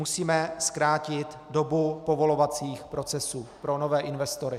Musíme zkrátit dobu povolovacích procesů pro nové investory.